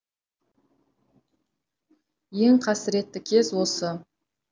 ең қасіретті кез осы